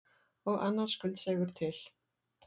Og annar skuldseigur til.